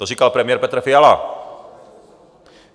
To říkal premiér Petr Fiala.